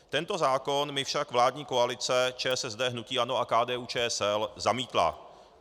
Tento zákon mi však vládní koalice ČSSD, hnutí ANO a KDU-ČSL zamítla.